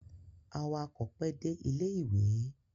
Awakọ̀ pẹ́ dé ilé-ìwé.